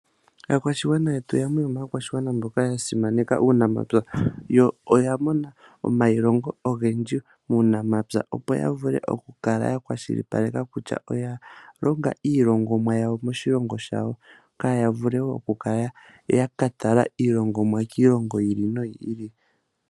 Aakwashigwana yetu yamwe yomaakwashigwana mboka yasimaneka uunamapya yo oyamona omailongo ogendji muunamapya opo yavule okukala ya kwashilipaleka kutya oya longa iilongomwa yawo moshilongo shawo kaya vule okukala ya katala iilongomwa kiilongo yi ili noyi ili.